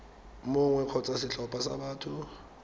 mongwe kgotsa setlhopha sa batho